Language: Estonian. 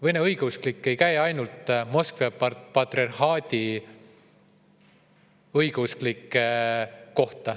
Vene õigeusklik ei tähenda ainult Moskva patriarhaadi õigeusklikke.